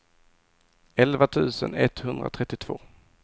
elva tusen etthundratrettiotvå